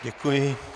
Děkuji.